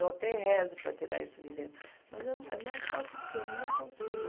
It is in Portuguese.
Eu até rezo para tirar isso de dentro, mas eu, é mais forte do que eu, não consigo.